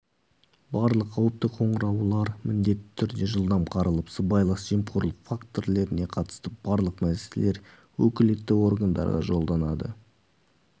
барлық қауіпті қоңыраулар міндетті түрде жылдам қаралып сыбайлас жемқорлық фактілеріне қатысты барлық мәселелер өкілетті органдарға жолданады